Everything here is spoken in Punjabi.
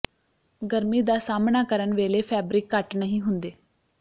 ਗਰਮੀ ਦਾ ਸਾਹਮਣਾ ਕਰਨ ਵੇਲੇ ਫੈਬਰਿਕ ਘੱਟ ਨਹੀਂ ਹੁੰਦੇ